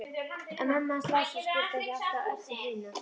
En mamma hans Lása skildi ekki alltaf Öbbu hina.